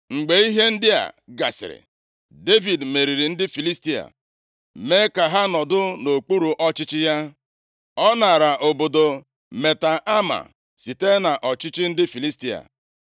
Mgbe ihe ndị a gasịrị, Devid meriri ndị Filistia. Mee ka ha nọdụ nʼokpuru ọchịchị ya. Ọ naara obodo Meteg-Amaa site nʼọchịchị ndị Filistia.